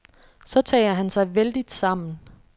Så tager han sig vældigt sammen.